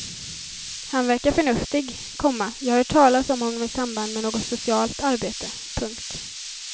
Han verkar förnuftig, komma jag har hört talas om honom i samband med något socialt arbete. punkt